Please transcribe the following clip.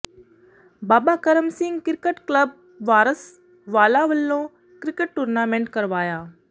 ਬਾਬਾ Karam Singh cricket club Waris Wala ਵੱਲੋਂ cricket tournament ਕਰਵਾਇਆ